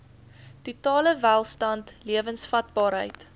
totale welstand lewensvatbaarheid